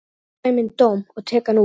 Ég fæ minn dóm og tek hann út.